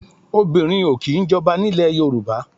Obìnrin o kì í jọba ní ilẹ̀ Yorùbá.